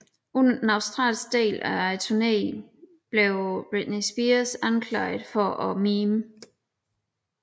Under den australske del af turnéen blev Britney Spears anklaget for at mime